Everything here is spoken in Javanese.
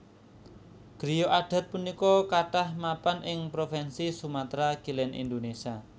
Griya adat punika kathah mapan ing provinsi Sumatra Kilèn Indonésia